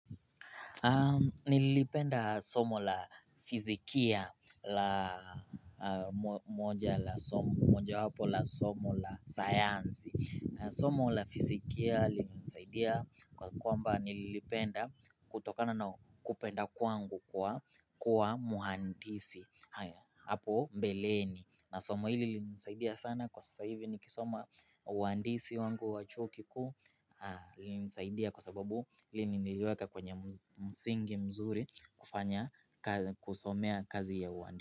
Nilipenda somo la fizikia la moja la somo, mojawapo la somo la sayansi Somo la fizikia linanisaidia kwa kwamba nilipenda kutokana na kupenda kwangu kwa kuwa mhandisi Apo mbeleni na somo hili lilinisaidia sana kwa sasa hivi nikisoma uhandisi wangu wa chuo kikuu lilinisaidia kwa sababu hili niliweka kwenye msingi mzuri kufanya kusomea kazi ya uhandisi.